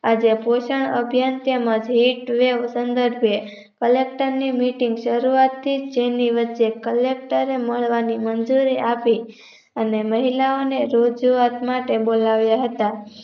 આજે પોચા અભ્યાન તેમજ હેટવેવ સન્દર્ભે collector ની meeting શરુઆતથીજ ની વચ્ચે collector એ મળવાની મન્જુરી આપી અને મહિલાઓને રોગજીવક માટે બોલાવી હતી